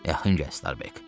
Yaxın gəl Starbek.